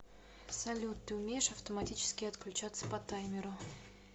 салют ты умеешь автоматически отключаться по таймеру